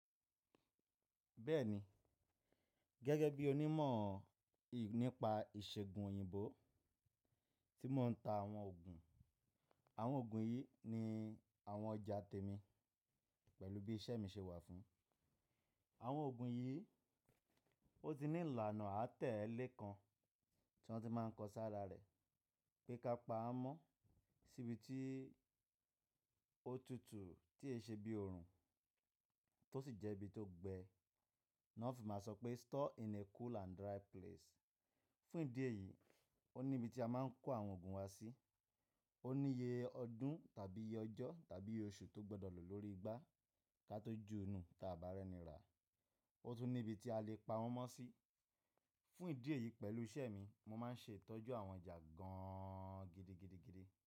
Bẹ́ẹ̀ni, gẹ́gẹ́ bí onímọ̀ nípa ìṣègùn òyìnbó tí mò ń ta àwọn ògùn. Àwọn ògùn yìí ni àwọn ọjà tèmi pẹ̀lú bí iṣẹ́ mi ṣe wà fún. Àwọn ògùn yìí, ó ti ní ìlànà àtẹ́lé kan tí wọ́n ti máa ń kọ sára rẹ̀ pé ká pa á mọ́ síbi tí ó tutù tí è ṣe bí oorun tó sì jẹ́ ibi tó gbẹ. Nà ọ́ fi máa sọ pé store in a cool and dry place. Fún ìdí èyí, ó ní ibi tí a máa ń kó àwọn ògùn wa sí, ó ní iye ọdún tàbí iye ọjọ́ tàbí oṣù tó gbọdọ̀ lò lórí igbá kí a tó ju nu ta àbá rẹ̀ ni rà. Ó tún ní ibi tí a lè pa wọ́n mọ́ sí. Fún ìdí èyí pẹ̀lú iṣẹ́ mi, mo máa ń ṣe ìtọ́jú àwọn ọjà gan an gidigidigidi.